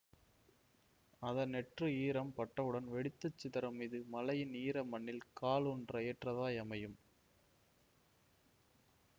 அதன் நெற்று ஈரம் பட்டவுடன் வெடித்து சிதறும் இது மழையின் ஈர மண்ணில் காலூன்ற ஏற்றதாய் அமையும்